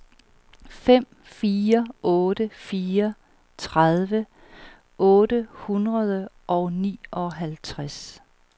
fem fire otte fire tredive otte hundrede og nioghalvtreds